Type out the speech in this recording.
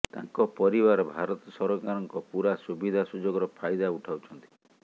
ତାଙ୍କ ପରିବାର ଭାରତ ସରକାରଙ୍କ ପୂରା ସୁବିଧା ସୁଯୋଗର ଫାଇଦା ଉଠାଉଛନ୍ତି